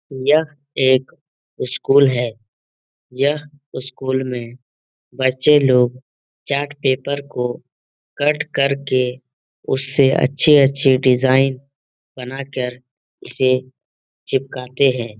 यह एक स्कूल है। यह स्कुल में बच्चे लोग चार्ट पेपर को कट करके उसे अच्छी-अच्छी डिजाइन बनाकर इसे चिपकाते हैं।